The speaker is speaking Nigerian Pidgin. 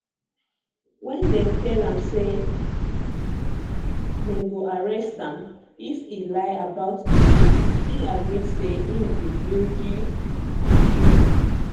wen wen dem tell am say dem go arrest am if e lie about im name e admit say e be luigi mangione